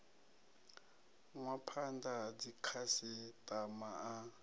nwa phanda ha dzikhasitama a